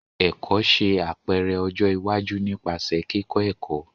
Ẹkọ ṣe apẹrẹ ọjọ iwaju nipasẹ kikọ ẹkọ.